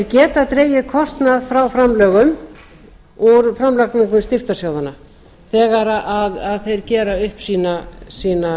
geta dregið kostnað frá framlögum úr framlagningu styrktarsjóðanna þegar þeir gera upp sínar